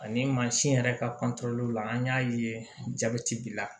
Ani mansin yɛrɛ ka la an y'a ye jabɛti bila